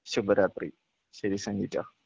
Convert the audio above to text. ശുഭരാത്രി ശരി സെനിറ്റ.